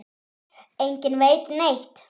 Enginn veit neitt.